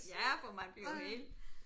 Ja for man bliver jo helt